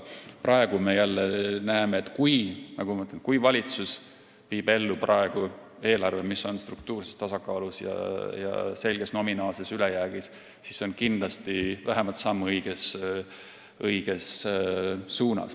Praegu me näeme, et kui valitsus viib ellu eelarve, mis on struktuurses tasakaalus ja selges nominaalses ülejäägis, siis on see kindlasti vähemalt samm õiges suunas.